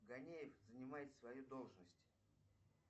ганеев занимает свою должность